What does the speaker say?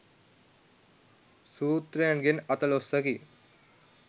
සූත්‍රයන්ගෙන් අතලොස්සකි.